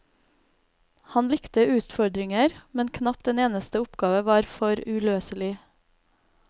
Han likte utfordringer, men knapt en eneste oppgave var for uløselig.